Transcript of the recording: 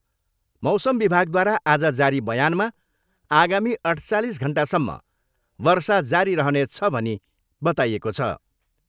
मौसम विभागद्वारा आज जारी बयानमा आगामी अठ्चालिस घन्टासम्म वर्षा जारी रहनेछ भनी बताइएको छ।